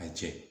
A jɛ